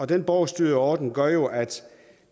den borgerstyrede ordning gør jo at